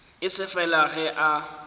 e se fela ge a